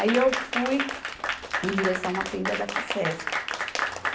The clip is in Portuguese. Aí eu fui em direção à tenda da Facesp.